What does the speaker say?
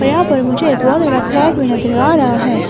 यहां पर मुझे एक और कोई नजर आ रहा है।